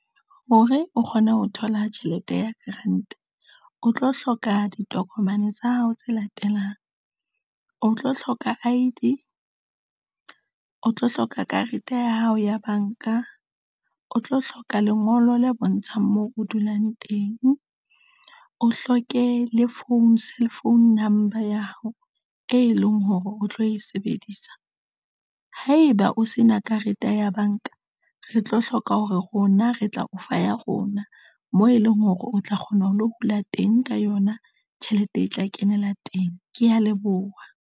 Hore o kgone ho thola tjhelete ya grant o tlo hloka ditokomane tsa hao tse latelang o tlo hloka I_D o tlo hloka karete ya hao ya banka, o tlo hloka lengolo le bontshang moo o dulang teng. O hloke le phone, cell phone number ya hao, e leng hore, o tlo e sebedisa haeba o se na karete ya banka re tlo hloka hore rona re tla o fa ya rona, moo e leng hore o tla kgona ho lo hula teng ka yona tjhelete e tla kenela teng. Ke ya leboha.